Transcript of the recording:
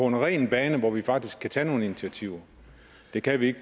en ren bane hvor vi faktisk kan tage nogle initiativer det kan vi ikke